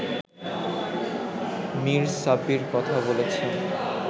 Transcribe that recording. মির সাব্বির কথা বলেছিলেন